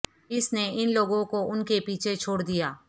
اس نے ان لوگوں کو ان کے پیچھے چھوڑ دیا